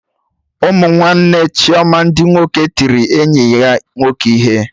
Ụmụ nwanne Chioma ndị nwoke tiri enyi ya nwoke ihe